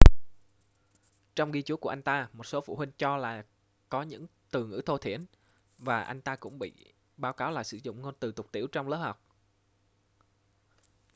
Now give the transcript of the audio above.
trong ghi chú của anh ta một số phụ huynh cho là có những từ ngữ thô thiển và anh ta cũng bị báo cáo là sử dụng ngôn từ tục tĩu trong lớp học